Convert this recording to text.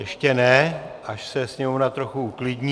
Ještě ne, až se sněmovna trochu uklidní...